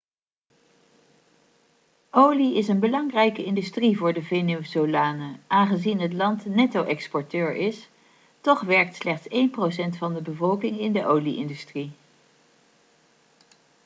olie is een belangrijke industrie voor de venezolanen aangezien het land netto-exporteur is toch werkt slechts één procent van de bevolking in de olie-industrie